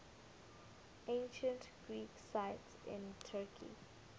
ancient greek sites in turkey